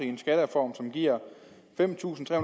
i en skattereform som giver fem tusind tre